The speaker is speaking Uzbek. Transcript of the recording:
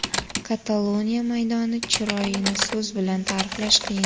Kataloniya maydoni chiroyini so‘z bilan ta’riflash qiyin.